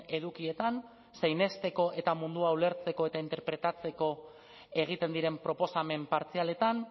edukietan zein hezteko eta mundua ulertzeko eta interpretatzeko egiten diren proposamen partzialetan